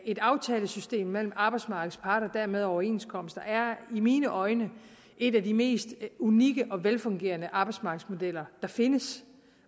et aftalesystem mellem arbejdsmarkedets parter og dermed overenskomster er i mine øjne en af de mest unikke og velfungerende arbejdsmarkedsmodeller der findes